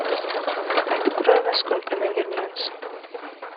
открой во сколько она вернется